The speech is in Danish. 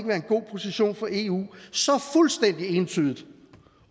være en god position for eu så fuldstændig entydigt